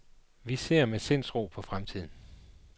Vi ser med sindsro på fremtiden.